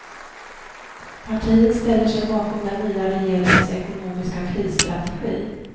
Partiet ställer sig bakom den nya regeringens ekonomiska krisstrategi.